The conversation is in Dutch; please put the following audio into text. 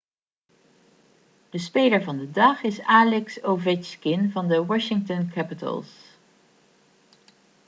de speler van de dag is alex ovechkin van de washington capitals